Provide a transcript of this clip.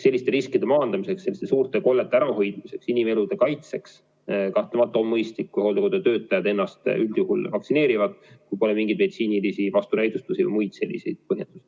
Selliste riskide maandamiseks, selliste suurte kollete ärahoidmiseks, inimelude kaitseks kahtlemata on mõistlik, kui hooldekodutöötajad ennast üldjuhul vaktsineerivad, kui neil pole mingeid meditsiinilisi vastunäidustusi või muid selliseid põhjuseid.